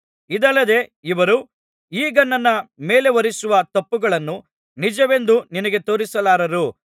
ಇದಲ್ಲದೆ ಇವರು ಈಗ ನನ್ನ ಮೇಲೆಹೊರಿಸುವ ತಪ್ಪುಗಳನ್ನು ನಿಜವೆಂದು ನಿನಗೆ ತೋರಿಸಲಾರರು